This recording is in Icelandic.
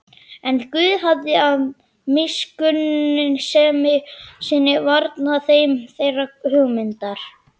En Guð hafði af miskunnsemi sinni varnað þeim þeirrar hugmyndar.